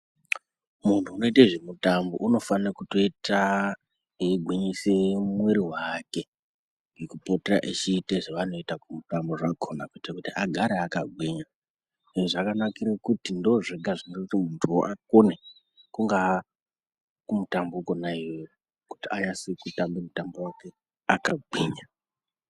Muntu unoite zvemutambo unofane kutoita eyigwinyise mwiri wake ngekupota eyiita zvavanoita kumutambo wakona kuti agare akagwinya. Izvi zvakanakire pakuti ndozvega zvinoita kuti muntuwo akone kunga kumutambo uwowo kuti anase kutamba akagwinya